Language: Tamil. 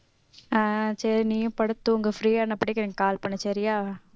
ஆஹ் சரி நீயும் படுத்து தூங்கு free யா நான் படிக்கிறேன் எனக்கு call பண்ணு சரியா